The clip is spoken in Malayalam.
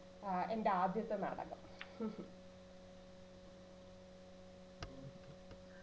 ആഹ് എന്റെ ആദ്യത്തെ നാടകം